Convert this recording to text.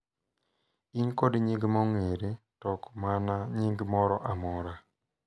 in kod nying’ ma ong'ere, to ok mana nying’ moro amora,